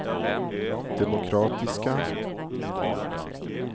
demokratiska